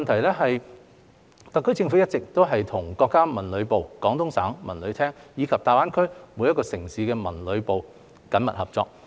二特區政府一直與國家文旅部、廣東省文旅廳及大灣區各城市的文旅部門緊密合作。